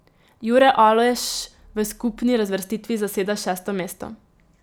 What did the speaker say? Jure Aleš v skupni razvrstitvi zaseda šesto mesto.